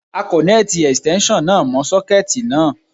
A kọ̀nẹ́ẹ̀tì Ẹ̀stẹ́nṣọ̀n náà mọ́ sọ́kẹ́ẹ̀tì náà.